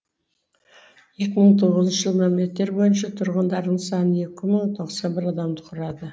екі мың тоғызыншы жылғы мәліметтер бойынша тұрғындарының саны екі мың тоқсан бір адамды құрады